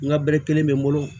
N ka bɛre kelen bɛ n bolo